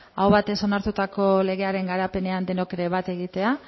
aho batez onartutako legearen garapenean denok ere bat egitea